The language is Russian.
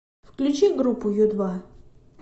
включи группу ю два